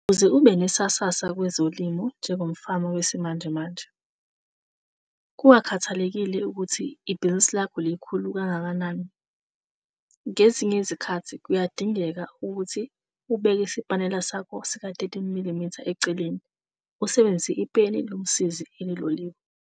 Ukuze ube nesasasa kwezolimo njengomfama wesimanjemanje, kungakhathalekile ukuthi ibhizinisi lakho likhulu kangakanani, ngezinye izikhathi kuyadingeka ukuthi ubeke isipanela sakho sika-13 mm eceleni usebenzise ipeni lomsizi eliloliwe.